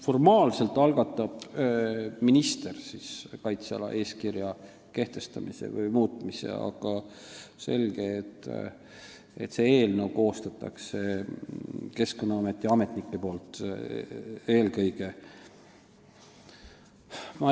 Formaalselt algatab minister kaitse-eeskirja kehtestamise või muutmise, aga selge, et selle eelnõu koostavad eelkõige Keskkonnaameti ametnikud.